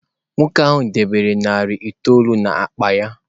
Nwoke ahụ debere narị itoolu n’akpa ya.